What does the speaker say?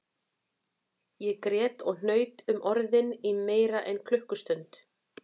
Ég grét og hnaut um orðin í meira en klukkustund